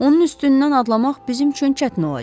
Onun üstündən adlamaq bizim üçün çətin olacaq.